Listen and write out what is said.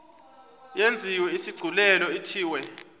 yenziwe isigculelo ithiwe